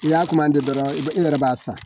N'i y'a kuma di dɔrɔn i yɛrɛ b'a san